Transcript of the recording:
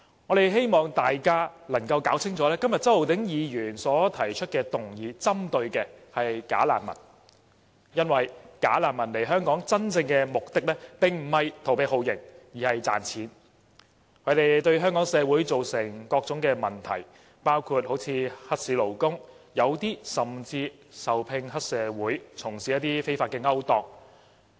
我們希望大家弄清楚，今天周浩鼎議員提出的議案針對的是"假難民"，因為"假難民"來港的真正目的並非逃避酷刑，而是賺錢，他們對香港社會造成各種問題，包括黑市勞工，有些人甚至受聘於黑社會，從事非法勾當。